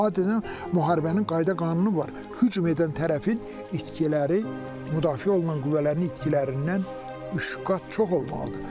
Adətən müharibənin qayda-qanunu var, hücum edən tərəfin itkiləri müdafiə olunan qüvvələrin itkilərindən üç qat çox olmalıdır.